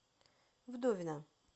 вдовина